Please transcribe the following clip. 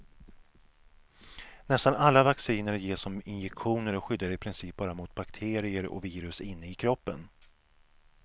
Nästan alla vacciner ges som injektioner och skyddar i princip bara mot bakterier och virus inne i kroppen.